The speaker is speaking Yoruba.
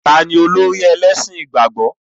Olórí ẹlẹ́sìn ìgbàgbọ́ ni?